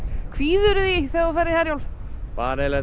kvíðirðu því þegar þú ferð í Herjólf bara eiginlega